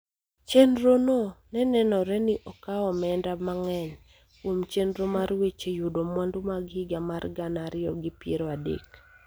Chenro no ne nenore ni okawo omenda mang�eny kuom chenro mar weche yudo mwandu mag higa mar gana ariyo gi piero adek